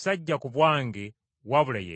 sajja ku bwange wabula ye yantuma.